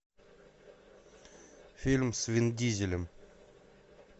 фильм с вин дизелем